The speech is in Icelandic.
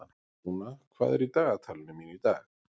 Rúna, hvað er í dagatalinu mínu í dag?